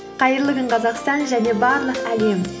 қайырлы күн қазақстан және барлық әлем